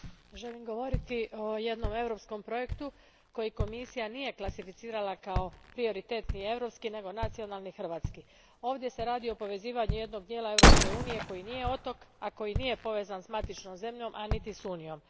Poštovani gospodine predsjedniče, želim govoriti o jednom europskom projektu koji Komisija nije klasificirala kao prioritetni europski, nego nacionalni, hrvatski. Ovdje se radi o povezivanju jednog dijela Europske unije koji nije otok, a koji nije povezan s matičnom zemljom, a niti s Unijom.